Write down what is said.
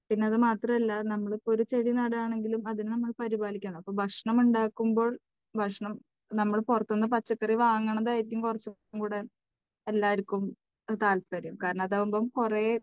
പിന്നെ അത് മാത്രമല്ല നമ്മൾ ഇപ്പം ഒരു ചെടി നടുക ആണെങ്കിലും അതിനെ നമ്മൾ പരിപാലിക്കണം. ഭക്ഷണം ഉണ്ടാക്കുമ്പോൾ നമ്മൾ പുറത്തുനിന്ന് പച്ചക്കറി വാങ്ങുന്നതായിരിക്കും കുറച്ചുകൂടി എല്ലാവർക്കും താല്പര്യം. കാരണം അതാകുമ്പോൾ കുറേ